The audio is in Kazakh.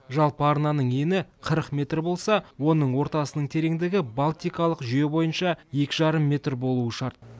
жалпы арнаның ені қырық метр болса оның ортасының тереңдігі балтикалық жүйе бойынша екі жарым метр болуы шарт